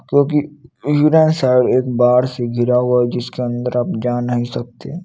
क्योंकि उजड़ा सा एक बाढ़ से गिरा हुआ जिसके अन्दर आप जा नही सकते--